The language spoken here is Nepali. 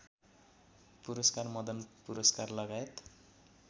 पुरस्कार मदन पुरस्कारलगायत